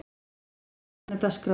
Austmann, hvernig er dagskráin?